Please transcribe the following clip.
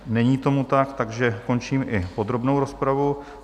Není tomu tak, takže končím i podrobnou rozpravu.